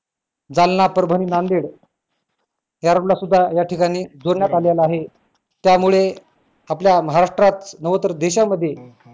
जालना, परभणी, नांदेड या road ला सुद्धा या ठिकाणी जोडण्यात आलेलं आहे त्यामुळे आपल्या महाराष्ट्रात नव्ह तर देशामध्ये